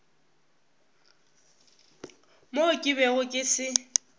mo ke bego ke se